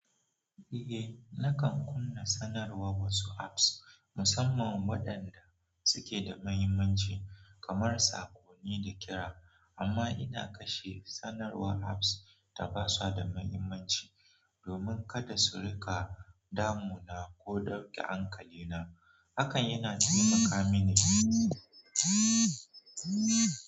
Eh, na kan kunna sanarwar wasu apps, musamman waɗanda suke da mahimmanci kamar sako ni da kira. Amma ina kashe sanarwar apps da ba su da mahimmanci domin kada su riƙa damuna ko ɗauke hankalina. Hakan yana taimaka mini.